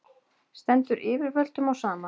Stendur yfirvöldum á sama?